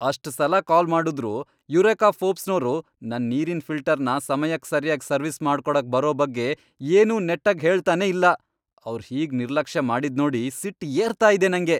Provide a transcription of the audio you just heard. ಅಷ್ಟ್ ಸಲ ಕಾಲ್ ಮಾಡುದ್ರೂ ಯುರೇಕಾ ಫೋರ್ಬ್ಸ್ನೋರು ನನ್ ನೀರಿನ್ ಫಿಲ್ಟರ್ನ ಸಮಯಕ್ ಸರ್ಯಾಗಿ ಸರ್ವಿಸ್ ಮಾಡ್ಕೊಡಕ್ ಬರೋ ಬಗ್ಗೆ ಏನೂ ನೆಟ್ಟಗ್ ಹೇಳ್ತನೇ ಇಲ್ಲ, ಅವ್ರ್ ಹೀಗ್ ನಿರ್ಲಕ್ಷ್ಯ ಮಾಡೋದ್ನೋಡಿ ಸಿಟ್ಟ್ ಏರ್ತಾ ಇದೆ ನಂಗೆ.